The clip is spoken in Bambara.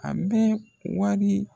An bɛ wari.